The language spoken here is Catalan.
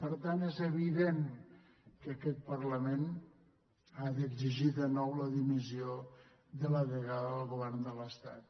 per tant és evident que aquest parlament ha d’exigir de nou la dimissió de la delegada del govern de l’estat